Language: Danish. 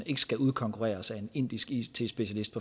ikke skal udkonkurreres af en indisk it specialist